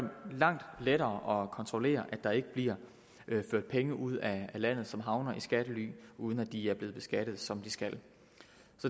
langt lettere at kontrollere at der ikke bliver ført penge ud af landet som havner i skattely uden at de er blevet beskattet som de skal